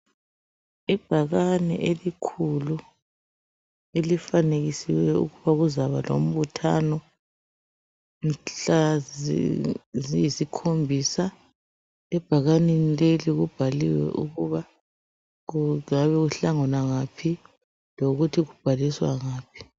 Ibhakani elikhulu ,elifanekisiweyo ukuba kuzakuba lombuthano .Mhlaziyisikhombisa ,ebhakaneni leli kubhaliwe ukuthi kungabe kuhlanganwa ngaphi lokuthi kubhaliswa ngaphi.